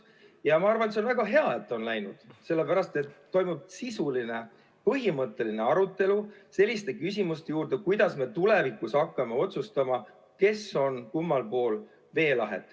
Ja ma arvan, et see on väga hea, et nii on läinud, sellepärast et toimub sisuline ja põhimõtteline arutelu selliste küsimuste üle, kuidas me tulevikus hakkame otsustama, kes on kummal pool veelahet.